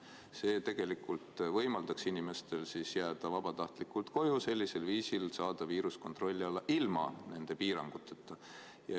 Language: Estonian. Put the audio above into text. See võimaldaks inimestel jääda vabatahtlikult koju ja sellisel viisil saada viirus kontrolli alla ilma nende piiranguteta.